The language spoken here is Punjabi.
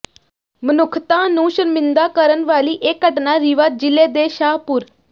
ਮਨੁੱਖਤਾ ਨੂੰ ਸ਼ਰਮਿੰਦਾ ਕਰਨ ਵਾਲੀ ਇਹ ਘਟਨਾ ਰੀਵਾ ਜ਼ਿਲੇ ਦੇ ਸ਼ਾਹਪੁਰ